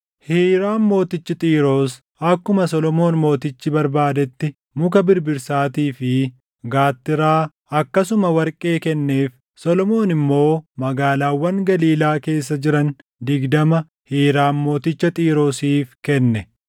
Hiiraam mootichi Xiiroos akkuma Solomoon Mootichi barbaadetti muka birbirsaatii fi gaattiraa akkasuma warqee kenneef; Solomoon immoo magaalaawwan Galiilaa keessa jiran digdama Hiiraam mooticha Xiiroosiif kenne.